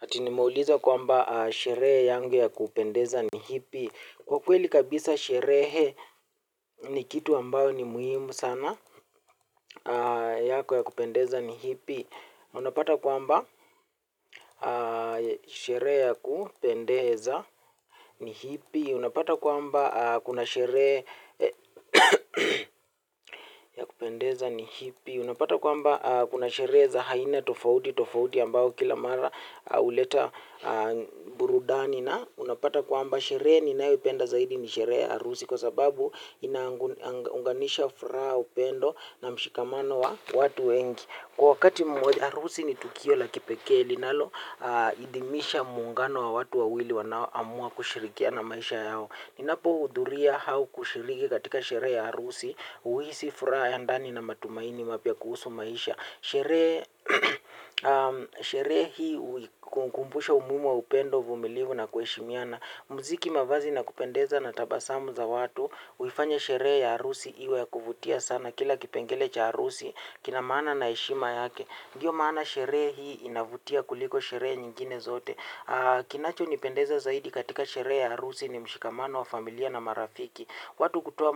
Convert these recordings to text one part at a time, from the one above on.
Ati nimeuliza kwamba sherehe yangu ya kupendeza ni ipi. Kwa kweli kabisa sherehe ni kitu ambayo ni muhimu sana. Yako ya kupendeza ni ipi. Unapata kwamba sherehe ya kupendeza ni ipi. Unapata kwamba kuna sherehe ya kupendeza ni hipi. Unapata kwamba kuna sherehe za aina tofauti tofauti. Ambao kila mara huleta burudani na unapata kwamba sherehe ninayopenda zaidi ni sherehe ya harusi kwa sababu inaunganisha furaha upendo na mshikamano wa watu wengi. Kwa wakati moja harusi ni tukio la kipekee linaloidhinisha muungano wa watu wawili wanao amua kushirikiana maisha yao ninapo hudhuria au kushiriki katika sherehe ya harusi huhisi furaha ya ndani na matumaini mapya kuhusu maisha. Sherehe hii unikumbusha umuhimu wa upendo vumilivu na kuheshimiana muziki mavazi na kupendeza na tabasamu za watu uhifanya sherehe ya harusi iwe ya kuvutia sana kila kipengele cha harusi kina maana na heshima yake ndiyo maana sheree hii inavutia kuliko sherehe nyingine zote kinacho nipendeza zaidi katika sherehe ya harusi ni mshikamano wa familia na marafiki watu kutoa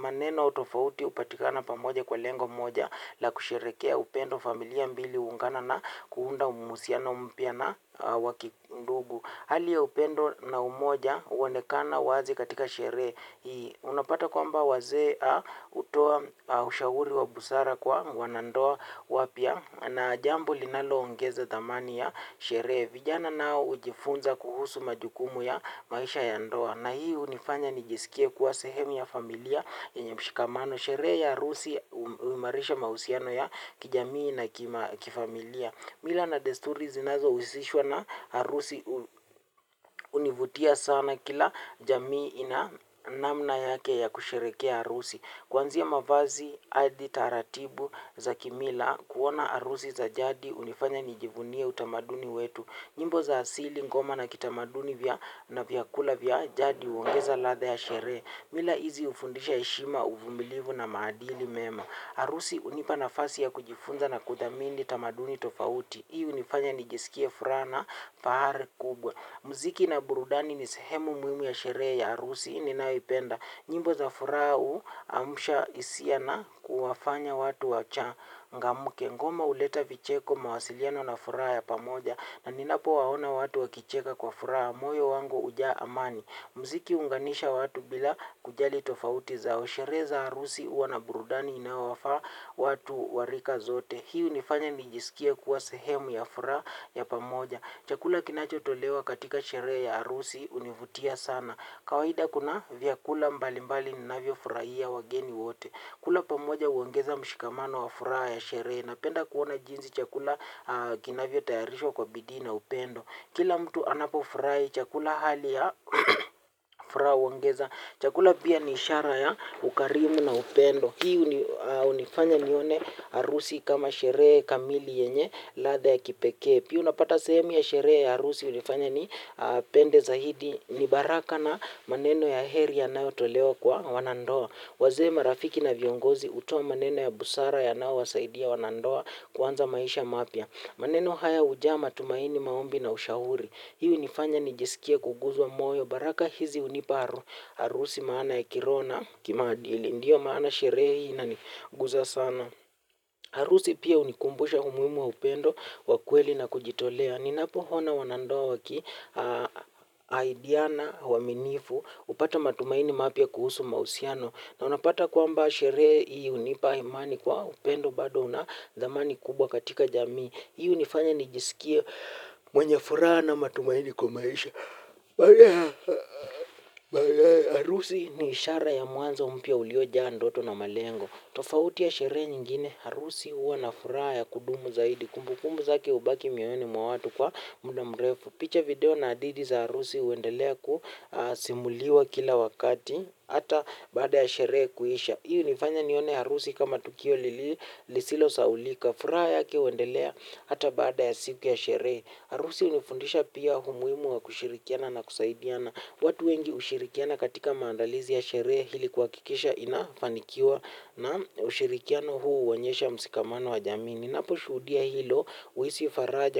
maneno tofauti hupatikana pamoja kwa lengo moja na kusherehekea upendo familia mbili huungana na kuunda uhusiano mpya na wa kindugu hali ya upendo na umoja huonekana wazi katika sherehe hii. Unapata kwamba wazee hutoa ushauri wa busara kwa wanandoa wapya na jambo linalo ongeza thamani ya sherehe. Vijana nao hujifunza kuhusu majukumu ya maisha ya ndoa. Na hii hunifanya nijisikie kuwa sehemu ya familia yenye mshikamano. Sherehe ya harusi uimarisha mahusiano ya kijamii na kifamilia. Mila na desturi zinazo husishwa na harusi univutia sana kila jamii ina namna yake ya kusherehekea harusi. Kwanzia mavazi hadi taratibu za kimila kuona harusi za jadi hunifanya nijivunie utamaduni wetu nyimbo za asili ngoma na kitamaduni vya na vyakula vya jadi huongeza ladha ya sherehe. Mila hizi hufundisha heshima uvumilivu na maadili mema. Harusi hunipa nafasi ya kujifunza na kuthamini tamaduni tofauti. Hii hunifanya nijisikie furaha na fahari kubwa. Muziki na burudani ni sehemu muhimu ya sherehe ya harusi ninaipenda. Nyimbo za furaha huu amsha hisia na kuwafanya watu wachangamke. Ngoma huleta vicheko mawasiliano na furaha ya pamoja. Na ninapo waona watu wakicheka kwa furaha. Moyo wangu hujaa amani. Muziki huunganisha watu bila kujali tofauti zao sherehe za harusi huwa na burudani inaowafaa watu wa rika zote. Hii hunifanya nijisikie kuwa sehemu ya furaha ya pamoja. Chakula kinacho tolewa katika sherehe ya harusi univutia sana. Kawaida kuna vyakula mbalimbali ninavyo furahia wageni wote. Kula pamoja huongeza mshikamano wa furaha ya sherehe napenda kuona jinsi chakula kinavyo tayarishwa kwa bidii na upendo. Kila mtu anapo furahi chakula hali ya furaha huongeza. Chakula pia ni ishara ya ukarimu na upendo. Hii unifanya nione harusi kama sherehe kamili yenye ladha ya kipekee. Pia unapata sehemu ya sherehe ya harusi hunifanya ni pende zaidi ile baraka na maneno ya heri yanayotolewa kwa wanandoa wazee marafiki na viongozi hutoa maneno ya busara yanao wasaidia wanandoa kwanza maisha mapya. Maneno haya huja matumaini maombi na ushauri. Hii hunifanya nijisikie kuguza moyo baraka hizi hunipa harusi maana ya kiroho na kimaadili. Ndiyo maana sherehe hii ina niguza sana. Harusi pia unikumbusha umuhimu wa upendo wa kweli na kujitolea. Ninapo ona wanandoa waki ahidiana uwaminifu hupata matumaini mapya kuhusu mahusiano. Na unapata kwamba sherehe hii hunipa imani kwa upendo bado unathamani kubwa katika jamii. Hii unifanya nijisikie mwenye furaha na matumaini kwa maisha. Harusi ni ishara ya mwanzo mpya uliojaa ndoto na malengo. Tofauti ya sherehe nyingine. Harusi huwa na furaha ya kudumu zaidi. Kumbukumbu zake hubaki moyoni mwa watu kwa muda mrefu. Picha video na hadithi za harusi huendelea kusimuliwa kila wakati. Hata baada ya sherehe kuisha hii hunifanya nione harusi kama tukio lili lisilo sahaulika. Furaha yake huendelea. Hata baada ya siku ya sherehe. Harusi unifundisha pia umuhimu wa kushirikiana na kusaidiana. Watu wengi hushirikiana katika maandalizi ya sherehe ili kuhakikisha inafanikiwa. Naam ushirikiano huu huonyesha mshikamano wa jamii ni. Napo shuhudia hilo huhisi faraja.